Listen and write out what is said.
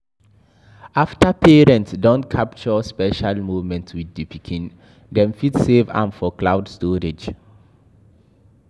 After parents don capture special moment with di pikin, dem fit save am for cloud storage